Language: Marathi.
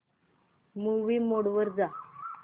मूवी मोड वर जा